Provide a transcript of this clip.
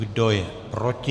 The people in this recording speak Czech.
Kdo je proti?